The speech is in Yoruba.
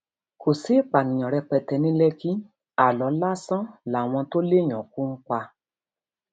kò sí ìpànìyàn rẹpẹtẹ ní lẹkì aálọ lásán làwọn tó léèyàn kú ń pa